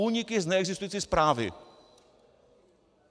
Úniky z neexistující zprávy.